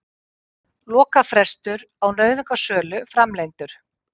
Lokafrestur á nauðungarsölu framlengdur